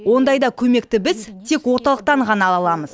ондайда көмекті біз тек орталықтан ғана аламыз